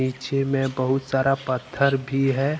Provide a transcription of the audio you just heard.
पीछे में बहुत सारा पत्थर भी है।